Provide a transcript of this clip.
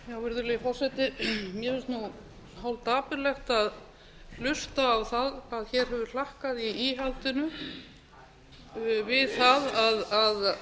mér finnst nú hálf dapurlegt að hlusta á það að hér hefur hlakkað í íhaldinu við það að